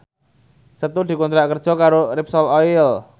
Setu dikontrak kerja karo Repsol Oil